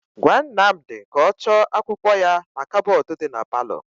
Gwa Nnamdị ka ọ chọọ akwụkwọ ya na kabọọdụ dị na paalọ.